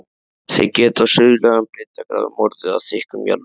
Þær geta á suðlægum breiddargráðum orðið að þykkum jarðlögum.